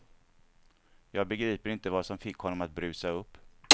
Jag begriper inte vad som fick honom att brusa upp.